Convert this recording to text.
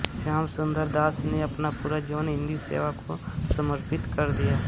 श्याम सुंदर दास ने अपना पूरा जीवन हिंदीसेवा को समर्पित कर दिया